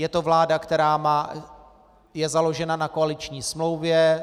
Je to vláda, která je založena na koaliční smlouvě.